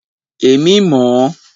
Èmi mọ̀ ọ́.